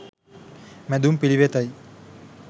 මැදුම් පිළිවෙත යි.